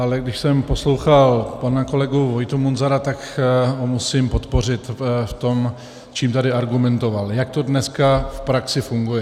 Ale když jsem poslouchal pana kolegu Vojtu Munzara, tak ho musím podpořit v tom, čím tady argumentoval, jak to dneska v praxi funguje.